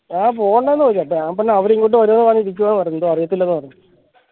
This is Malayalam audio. ആ പോണ്ടന്ന് ഞാൻ പറഞ് അവര് ഇങ്ങോട്ട് വരുന്ന് പറഞ് ഇരിക്കുവാ ന്ന് പറഞ് അറിയത്തില്ല ന്ന് പറഞ്ഞു